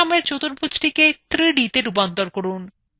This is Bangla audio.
লেখাসমেত চতুর্ভুজটিকে 3dতে রূপান্তর করুন